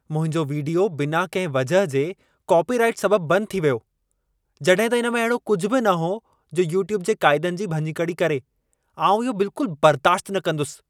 मुंहिंजो वीडियो, बिना कंहिं वजह जे कॉपीराइट सबबु बंदि थी वियो। जॾहिं त इन में अहिड़ो कुझि बि न हो जो यूट्यूब जे क़ाइदनि जी भञकिड़ी करे। आउं इहो बिल्कुलु बरदाश्त न कंदुसि।